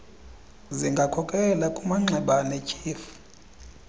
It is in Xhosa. zingakhokelela kumanxeba anetyhefu